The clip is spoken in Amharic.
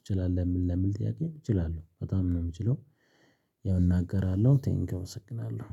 እችላለሁ የሚል ለሚል ጥያቄ እችላለሁ በጣም ነው የምችለው። ያው እናገራለሁ ቴንኪው እመሰግናለሁ።